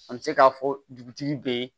An bɛ se k'a fɔ dugutigi be